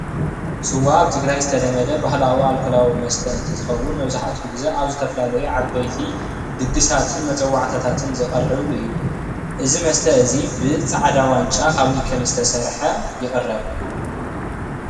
ስዋ አብ ትግራይ ዝተለመደ ባህላዊ አልካላዊ መስተ እንትኸውን መብዛሕቲኡ ግዜ አብ ዝተፈላለዩ ዓበይቲ ድግሳት መፀዋዕታትን ዝቐርብ እዩ፡፡ እዚ መስተ እዚ ብፃዕዳ ዋንጫ ካብ ኒከል ዝተሰርሐ ይቕረብ፡፡